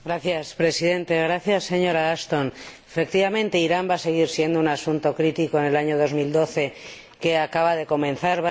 Señor Presidente, señora Ashton, efectivamente, Irán va a seguir siendo un asunto crítico en el año 2012 que acaba de comenzar.